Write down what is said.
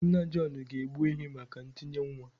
Nna John ga-egbu ehi maka ntinye nwa